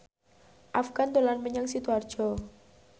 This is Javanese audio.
Afgan dolan menyang Sidoarjo